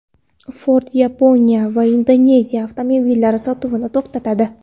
Ford Yaponiya va Indoneziyada avtomobillari sotuvini to‘xtatadi.